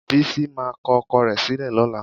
Bísí máa kọ ọkọ rẹ̀ sílẹ̀ lọ́la.